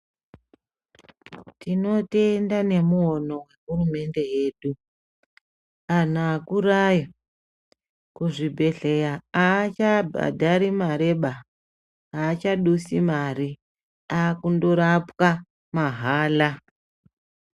Tinotenda nemuono wehurumende yedu anhu akurayo kuzvibhedhleya aachabhadhari mareba aachadusi mare akundorapwa mahala.